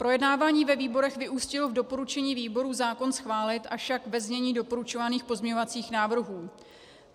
Projednávání ve výborech vyústilo v doporučení výborů zákon schválit, avšak ve znění doporučovaných pozměňovacích návrhů.